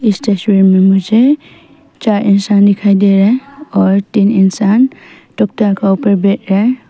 इस तस्वीर में मुझे चार इंसान दिखाई दे रहा है और तीन इंसान तोकता का ऊपर बैठा रहा है।